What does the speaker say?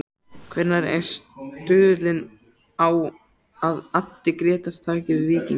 Hver er stuðullinn á að Addi Grétars taki við Víkingi?